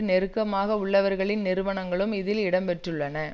நெருக்கமாக உள்ளவர்களின் நிறுவனங்களும் இதில் இடம் பெற்றுள்ளன